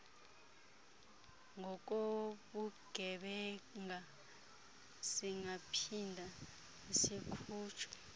ngokobugebenga singaphinda sikhutshwe